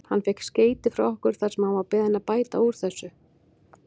Hann fékk skeyti frá okkur þar sem hann var beðinn að bæta úr þessu.